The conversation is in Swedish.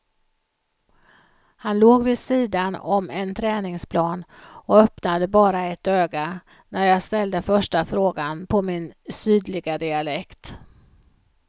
Han låg vid sidan om en träningsplan och öppnade bara ett öga när jag ställde första frågan på min sydliga dialekt.